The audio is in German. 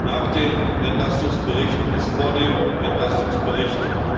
Nach dem Entlastungsbericht ist vor dem Entlastungsbericht.